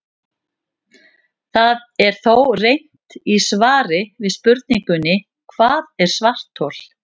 Það er þó reynt í svari við spurningunni Hvað er svarthol?